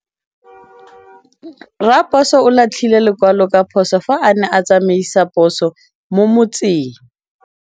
Raposo o latlhie lekwalô ka phosô fa a ne a tsamaisa poso mo motseng.